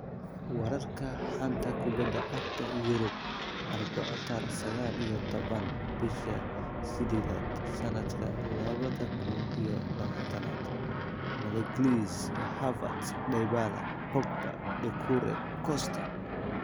Wararka xanta kubada cagta Yurub Arbaco tariq sagal iyo toban bisha sidedad sanadka labada kun iyo labatanad: Magalhaes, Havertz, Dybala, Pogba, Doucoure, Costa